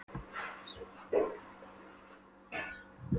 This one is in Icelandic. Réttu mér svefnpokana galaði Tóti úr risinu.